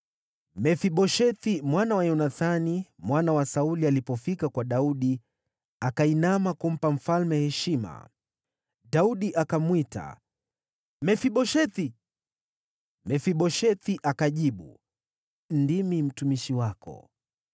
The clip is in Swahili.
Mefiboshethi mwana wa Yonathani, mwana wa Sauli, alipofika kwa Daudi, akainama kumpa mfalme heshima. Daudi akamwita, “Mefiboshethi!” Mefiboshethi akajibu, “Ndimi mtumishi wako.”